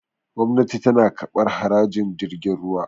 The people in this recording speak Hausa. gwamnati tana kabar harajin jirgin ruwa